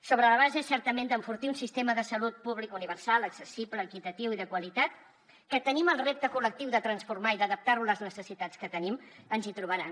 sobre la base certament d’enfortir un sistema de salut públic universal accessible equitatiu i de qualitat que tenim el repte col·lectiu de transformar lo i d’adaptar lo a les necessitats que tenim ens hi trobaran